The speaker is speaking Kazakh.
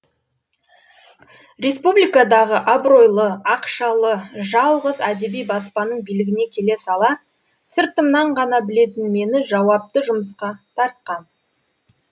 республикадағы абыройлы ақшалы жалғыз әдеби баспаның билігіне келе сала сыртымнан ғана білетін мені жауапты жұмысқа тартқан